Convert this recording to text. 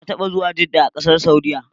Na taɓa zuwa Jedda a ƙasar Saudiyya.